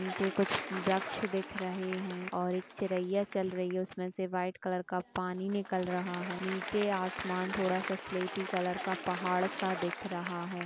नीचे कुछ वृक्ष दिख रहे है और एक चिरैया चल रही है| उसमे से वाइट कलर का पानी निकल रहा है| नीचे आसमान थोड़ा सा स्लेटी कलर का पहाड़ सा दिख रहा है।